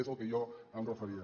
és al que jo em referia